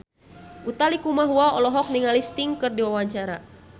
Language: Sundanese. Utha Likumahua olohok ningali Sting keur diwawancara